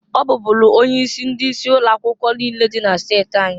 Ọ bubulu onye isi ndị isi ụlọ akwụkwọ niine dị na steti anyị.